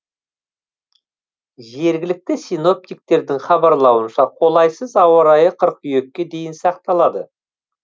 жергілікті синоптиктердің хабарлауынша қолайсыз ауа райы қыркүйекке дейін сақталады